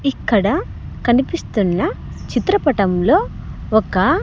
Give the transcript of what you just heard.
ఇక్కడ కనిపిస్తున్న చిత్ర పటంలో ఒక--